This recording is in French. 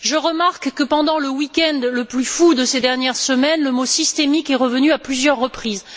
Je remarque que, pendant le week end le plus fou de ces dernières semaines, le mot systémique est revenu à plusieurs reprises.